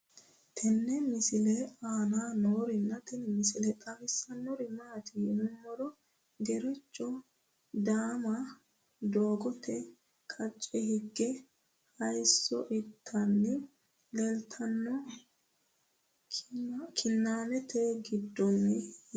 tenne misile aana noorina tini misile xawissannori maati yinummoro gereechcho daamma doogotte qacce higge hayiisso ittanni leelittanno kiinnammette giddonni yaatte